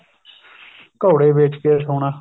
ਘੋੜੇ ਵੇਚ ਕੇ ਸੋਣਾ